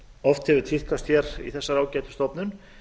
oft hefur tíðkast hér í þessari ágætu stofnun